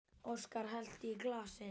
Óskar hellti í glasið.